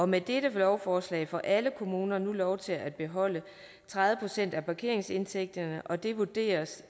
med dette lovforslag får alle kommuner nu lov til at beholde tredive procent af parkeringsindtægterne og det vurderes